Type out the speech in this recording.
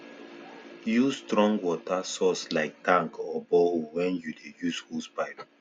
use strong water source like tank or borehole when you dey use hosepipe